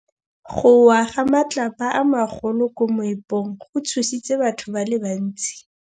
Go wa ga matlapa a magolo ko moepong go tshositse batho ba le bantsi.